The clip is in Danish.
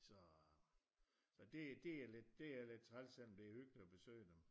Så det er lidt træls selvom det er hyggeligt at besøge dem